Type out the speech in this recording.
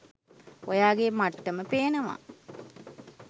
ඔයාගේ මට්ටම පේනවා